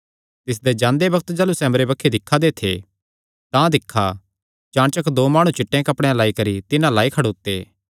तिसदे जांदे बग्त जाह़लू सैह़ अम्बरे बक्खी दिक्खा दे थे तां दिक्खा चाणचक दो माणु चिट्टेयां कपड़ेयां लाई करी तिन्हां अल्ल आई खड़ोते